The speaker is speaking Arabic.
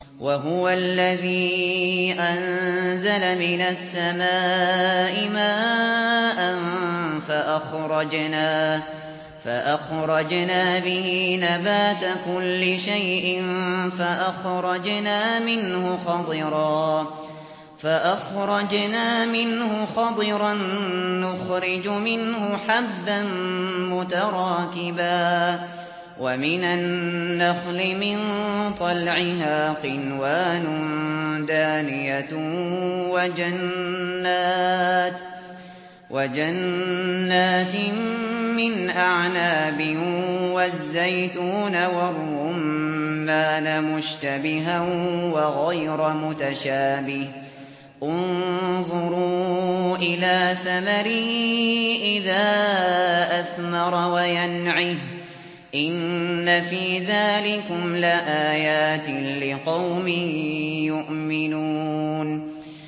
وَهُوَ الَّذِي أَنزَلَ مِنَ السَّمَاءِ مَاءً فَأَخْرَجْنَا بِهِ نَبَاتَ كُلِّ شَيْءٍ فَأَخْرَجْنَا مِنْهُ خَضِرًا نُّخْرِجُ مِنْهُ حَبًّا مُّتَرَاكِبًا وَمِنَ النَّخْلِ مِن طَلْعِهَا قِنْوَانٌ دَانِيَةٌ وَجَنَّاتٍ مِّنْ أَعْنَابٍ وَالزَّيْتُونَ وَالرُّمَّانَ مُشْتَبِهًا وَغَيْرَ مُتَشَابِهٍ ۗ انظُرُوا إِلَىٰ ثَمَرِهِ إِذَا أَثْمَرَ وَيَنْعِهِ ۚ إِنَّ فِي ذَٰلِكُمْ لَآيَاتٍ لِّقَوْمٍ يُؤْمِنُونَ